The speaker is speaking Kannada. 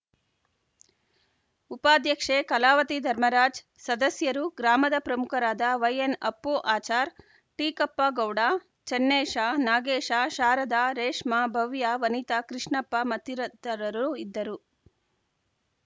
ಉಪಾಧ್ಯಕ್ಷೆ ಕಲಾವತಿ ಧರ್ಮರಾಜ್‌ ಸದಸ್ಯರು ಗ್ರಾಮದ ಪ್ರಮುಖರಾದ ವೈಎನ್‌ಅಪ್ಪು ಆಚಾರ್‌ ಟೀಕಪ್ಪ ಗೌಡ ಚೆನ್ನೇಶ ನಾಗೇಶಶಾರದಾ ರೇಷ್ಮಾ ಭವ್ಯ ವನಿತಾ ಕೃಷ್ಣಪ್ಪ ಮತ್ತಿರರು ಇದ್ದರು